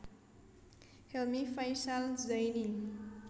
Helmy Faishal Zaini